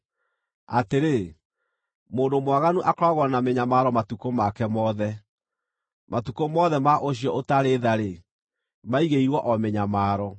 Atĩrĩ, mũndũ mwaganu akoragwo na mĩnyamaro matukũ make mothe. Matukũ mothe ma ũcio ũtarĩ tha-rĩ, maigĩirwo o mĩnyamaro.